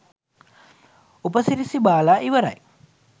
උප සිරැසි බාලා ඉවරයි